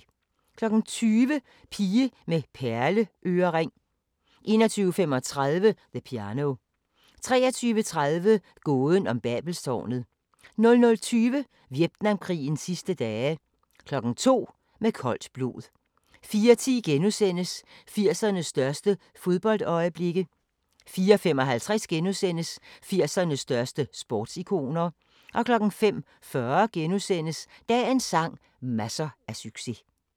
20:00: Pige med perleørering 21:35: The Piano 23:30: Gåden om Babelstårnet 00:20: Vietnamkrigens sidste dage 02:00: Med koldt blod 04:10: 80'ernes største fodboldøjeblikke * 04:55: 80'ernes største sportsikoner * 05:40: Dagens sang: Masser af succes *